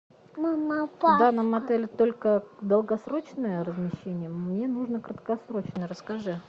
в данном отеле только долгосрочное размещение мне нужно краткосрочное расскажи